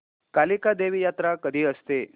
कालिका देवी यात्रा कधी असते